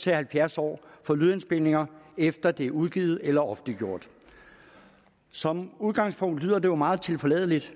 til halvfjerds år for lydindspilninger efter at de er udgivet eller offentliggjort som udgangspunkt lyder det jo meget tilforladeligt